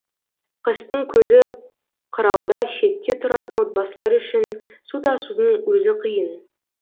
қыстың көзі қырауда шетте тұратын отбасылар үшін су тасудың өзі қиын